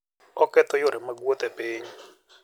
Oketho yore mag wuoth e piny.